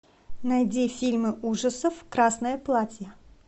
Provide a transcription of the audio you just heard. найди фильмы ужасов красное платье